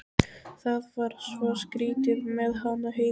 Það var svo skrýtið með hana Heiðu.